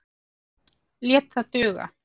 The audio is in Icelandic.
Lét það duga.